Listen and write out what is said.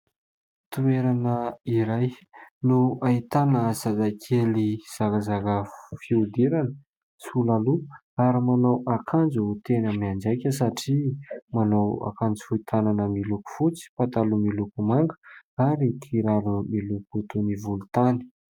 Toerana iray no ahitana zazakely zarazara fihodirana, sola loha ary manao akanjo tena mianjaika satria manao akanjo fohy tanana miloko fotsy, pataloha miloko manga ary kiraro miloko toy ny volontany.